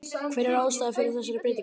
Hver er ástæðan fyrir þessari breytingu?